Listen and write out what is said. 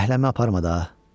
Zəhləmə aparma da!